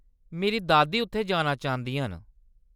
मेरी दादी उत्थै जाना चांह्दियां न।